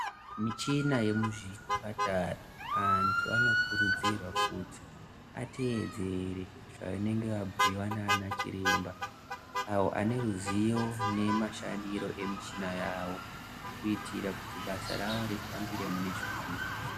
Michina yemuzvipatara antu anokurudzirwa kuti atedzere zvavanenge vapiwa nana chiremba avo aneruzivo nemashandiro emichina yavo kuitira kuti basa ravo rifambire munezvakanaka.